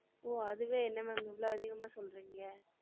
ஓ அதுவே என்ன ma'am இவ்ளோ அதிகம்மா சொல்றிங்க